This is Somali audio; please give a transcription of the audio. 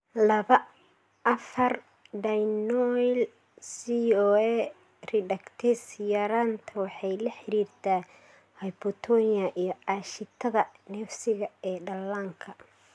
laba, afaar Dienoyl CoA reductase yaraanta waxay la xiriirtaa hypotonia iyo aashitada neefsiga ee dhallaanka.